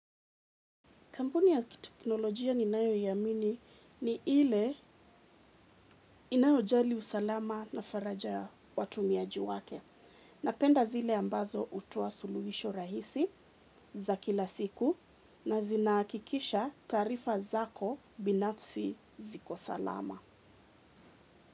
Kampuni ya teknolojia ninayo iamini ni ile inayo jali usalama na faraja watumiaji wake. Napenda zile ambazo hutuoa suluhisho rahisi za kila siku na zinahakikisha taarifa zako binafsi zikosalama.